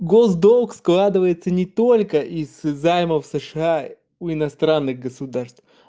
госдолг складывается не только из займов сша у иностранных государств